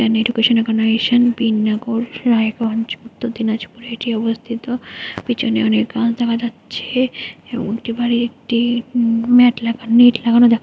Education বিন নাগর Raiganj Dinajpur এটি অবস্থিত পেছনে অনেক গাছ দেখা যাচ্ছে অটোপাই একটি নেট - নেট লাগানো।